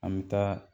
An bɛ taa